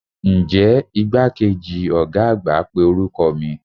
Nje igbakeji oga agba pe oruko mi?